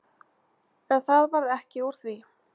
En það varð ekki úr því.